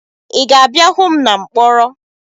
Ị ga-abịa hụ m na mkpọrọ?